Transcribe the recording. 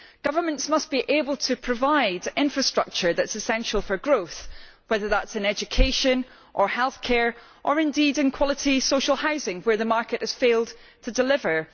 Governments must be able to provide infrastructure that is essential for growth, whether that is in education or healthcare, or indeed in quality social housing where the market has failed to deliver.